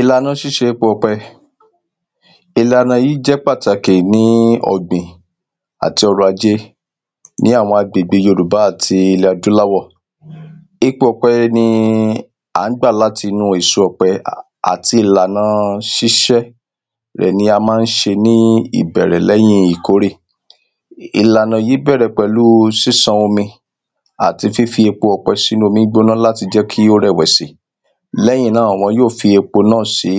Ìlàna sís̩e epo ò̩pe̩. Ìlànà yí jé̩ pàtàkì ní ò̩gbìn àti o̩rò̩-ajé ní àwo̩n agbègbe Yorùbá àti ilè̩ adúláwò̩. Epo ò̩pe̩ ni à ń gbà látinú èso ò̩pe̩. Àti ìlànà sís̩é̩ rè̩ ni a má ń s̩e ní ìbè̩rè̩ lé̩yìn ìkórè. Ìlànà yí bè̩rè̩ pè̩lu sísan omi. Àti fífi epo ò̩pe̩ sínú omí gbóná láti jé̩ kí ó rè̩ wè̩sì. Lé̩yìn náà wo̩n yó fi epo náà sí